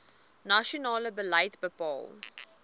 nasionale beleid bepaal